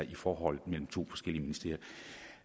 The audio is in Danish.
i forholdet mellem to forskellige ministerier